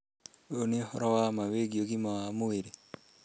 Ũyũ nĩ ũhoro wa ma wĩgiĩ ũgima wa mwĩrĩ.